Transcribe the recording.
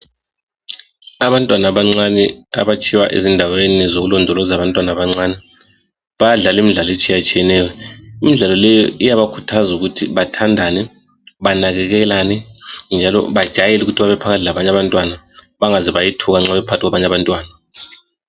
Abantwana abancane abatshiywa ezindaweni zokulondoloza abantwana abancane, bayadlala imidlalo etshiyatshiyeneyo. Imidlalo leyi iyabakhuthaza ukuthi bathandane banakekelane njalo bajayele ukuthi babephakathi labanye abantwana bangaze bayethuka nxa bephakathi kwabanye abantwana.